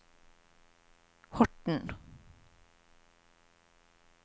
Horten